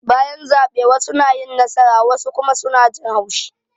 Bayan zabe wassu na yin nasara wassu kuma suna jin haushi